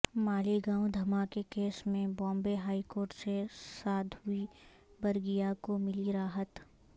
مالیگاوں دھماکہ کیس میں Bombay high court سے سادھوی پرگیہ کو ملی راحت